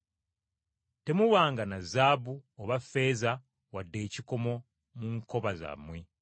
“Temubanga na zaabu oba ffeeza wadde ekikomo mu nkoba zammwe,